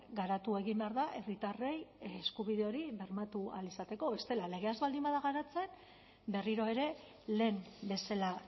garatu egin behar da herritarrei eskubide hori bermatu ahal izateko bestela legea ez baldin bada garatzen berriro ere lehen bezala